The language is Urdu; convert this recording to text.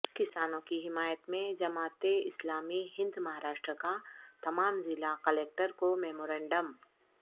کسانوں کی حمایت میں جماعت اسلامی ہند مہاراشٹر کا تمام ضلع کلکٹر کو میمورنڈم